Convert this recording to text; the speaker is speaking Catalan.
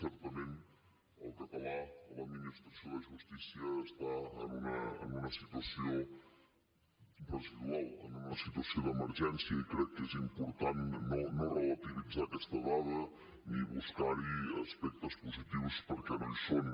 certament el català a l’administració de justícia està en una situació residual en una situació d’emergència i crec que és important no relativitzar aquesta dada ni buscar hi aspectes positius perquè no hi són